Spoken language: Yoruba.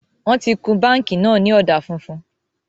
Wọn tí kun báńkì náà ni ọ̀dà funfun